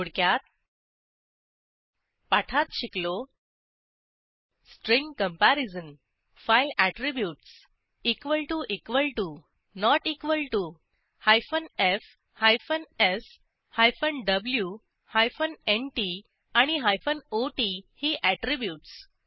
थोडक्यात पाठात शिकलो string comparison file attributes f s w nt आणि ot ही ऍट्रिब्यूटस